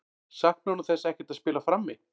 Saknar hún þess ekkert að spila frammi?